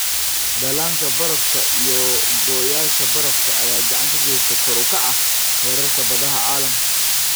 Dhallaanka barafka iyo go'yaasha barafka ayaa gacan ka geysta kor u kaca heerarka badaha caalamka.